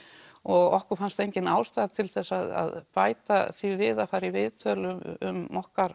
og okkur fannst engin ástæða til þess að bæta því við að fara í viðtöl um okkar